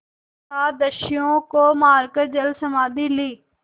सात दस्युओं को मारकर जलसमाधि ली